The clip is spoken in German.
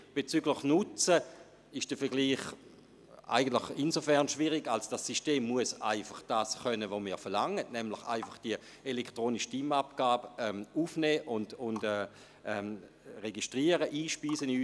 Bezüglich des Nutzens ist der Vergleich insofern schwierig, als das System einfach das können muss, was wir verlangen, nämlich die elektronische Stimmabgabe aufnehmen und in unser System einspeisen.